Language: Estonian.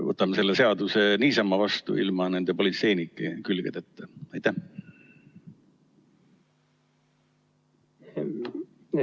Võtame selle seaduse niisama vastu ilma nende politseilike külgedeta!